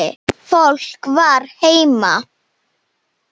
Fólk var heima.